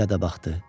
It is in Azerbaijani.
filə də baxdı.